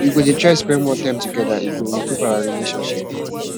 we go dey try spend more time togeda e go improve our relationship